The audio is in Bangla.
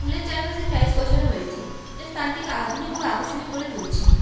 পুল -এর চারপাশে টাইলস বসানো হয়েছে যা স্থানটিকে আধুনিক ও আকর্ষণীয় করে তুলছে।